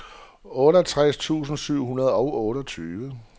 otteogtres tusind syv hundrede og otteogtyve